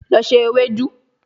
Lọ se ewedu